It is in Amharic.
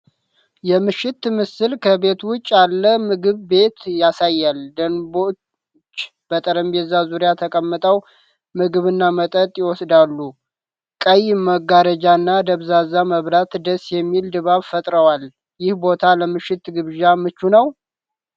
የምሽት ምስል ከቤት ውጭ ያለ ምግብ ቤት ያሳያል። ደንበኞች በጠረጴዛ ዙሪያ ተቀምጠው ምግብና መጠጥ ይወስዳሉ። ቀይ መጋረጃዎችና ደብዛዛ መብራቶች ደስ የሚል ድባብ ፈጥረዋል። ይህ ቦታ ለምሽት ግብዣ ምቹ ነው?